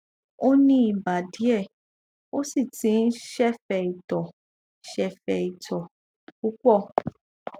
ó ní ibà díẹ ó sì ti ń sẹfẹ itọ sẹfẹ itọ púpọ